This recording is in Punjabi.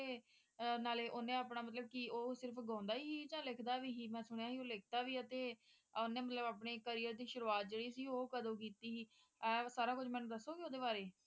ਅਹ ਨਾਲੇ ਓਹਨੇ ਆਪਣਾ ਉਹ ਸਿਰਫ ਗਾਉਂਦਾ ਸੀ ਕਿ ਲਿਖਦਾ ਵੀ ਸੀ ਅਤੇ ਓਹਨੇ ਮਤਲਬ ਆਪਣੇ career ਦੀ ਸ਼ੁਰੂਆਤ ਜਿਹੜੀ ਸੀ ਉਹ ਕਦੋਂ ਕੀਤੀ ਸੀ ਆਹ ਸਾਰਾ ਕੁਝ ਦੱਸੋਗੇ ਮੈਨੂੰ ਓਹਦੇ ਬਾਰੇ